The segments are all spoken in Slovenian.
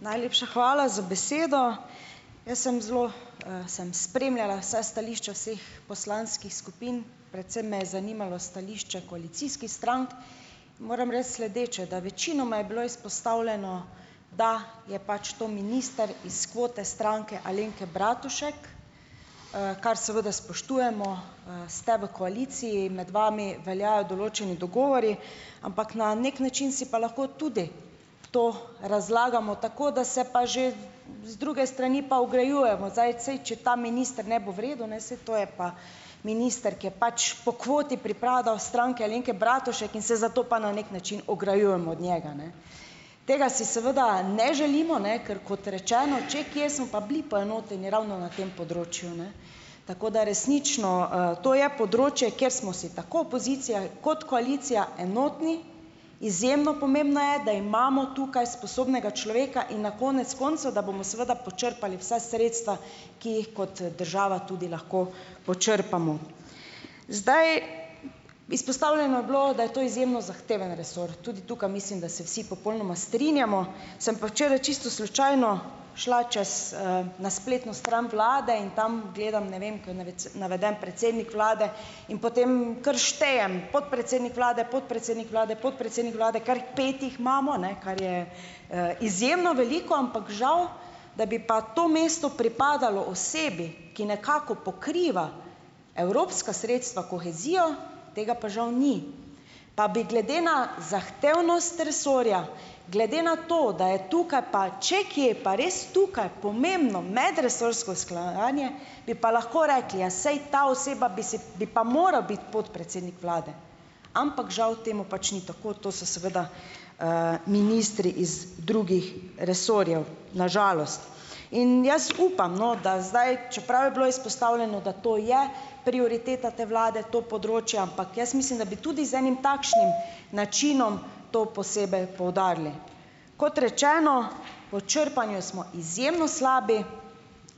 Najlepša hvala za besedo. Jaz sem zelo ... Sem spremljala vsa stališča vseh poslanskih skupin, predvsem me je zanimalo stališče koalicijskih strank, in moram reči sledeče, da večinoma je bilo izpostavljeno, da je pač to minister iz kvote Stranke Alenke Bratušek, kar seveda spoštujemo, ste v koaliciji, med vami veljajo določeni dogovori, ampak na neki način si pa lahko tudi to razlagamo tako, da se pa že v z druge strani pa ograjujemo, zdaj, saj če ta minister ne bo v redu, saj to je pa minister, ki je pač po kvoti pripadal Stranki Alenke Bratušek in se zato pa na neki način ograjujemo od njega, ne. Tega si seveda ne želimo, ne, kar kot rečeno, če kje, smo pa bili poenoteni ravno na tem področju, ne. Tako da resnično, to je področje, kjer smo si tako opozicija kot koalicija enotni, izjemno pomembno je, da imamo tukaj sposobnega človeka in na konec koncev, da bomo seveda počrpali vsa sredstva, ki jih kot, država tudi lahko počrpamo. Zdaj ... izpostavljeno je bilo, da je to izjemno zahteven resor. Tudi tukaj mislim, da se vsi popolnoma strinjamo, sem pa včeraj čisto slučajno šla čez, na spletno stran vlade in tam gledam, ne vem, ko je naveden predsednik vlade in potem, kar štejem, podpredsednik vlade, podpredsednik vlade, podpredsednik vlade, kar pet jih imamo, ne, kar je, izjemno veliko, ampak žal, da bi pa to mesto pripadalo osebi, ki nekako pokriva evropska sredstva, kohezijo, tega pa žal ni, pa bi glede na zahtevnost resorja, glede na to, da je tukaj pa, če kje, pa res tukaj pomembno medresorsko usklajevanje, bi pa lahko rekli, ja, saj ta oseba bi si, bi pa mora biti podpredsednik vlade, ampak žal temu pač ni tako, to so seveda, ministri iz drugih resorjev, na žalost. In jaz upam, no, da zdaj, čeprav je bilo izpostavljeno, da to je prioriteta te vlade, to področje, ampak jaz mislim, da bi tudi z enim takšnim načinom to posebej poudarili. Kot rečeno, v črpanju smo izjemno slabi,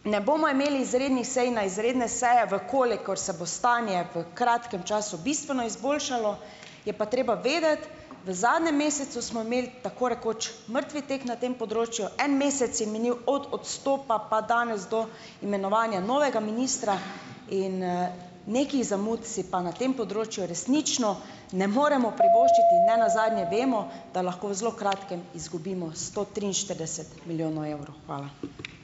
ne bomo imeli izrednih sej na izredne seje, v kolikor se bo stanje v kratkem času bistveno izboljšalo, je pa treba vedeti, v zadnjem mesecu smo imeli tako rekoč mrtvi tek na tem področju, en mesec je minil od odstopa pa danes do imenovanja novega ministra in, nekih zamud si pa na tem področju resnično ne moremo privoščiti in nenazadnje vemo, da lahko v zelo kratkem izgubimo sto triinštirideset milijonov evrov. Hvala.